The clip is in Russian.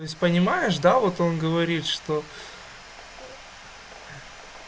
то есть понимаешь да вот он говорит что